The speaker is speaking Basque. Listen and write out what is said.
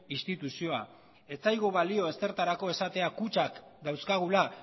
instituzioa ez zaigu balio ezertarako esatea kutxak dauzkagula